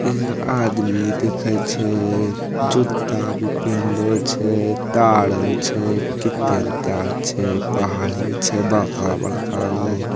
यहाँ आदमी दिखई छे जुता भी पेन्हले छै ताड़ो छे कि तेलपा छै पहाड़ी छे बड़का बड़का गो |